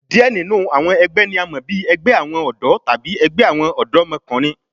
Diẹ ninu awọn ẹgbẹ ni a mọ bi ẹgbẹ awọn ọdọ tabi ẹgbẹ awọn ọdọmọkunrin